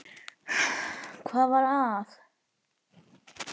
Hvað var að?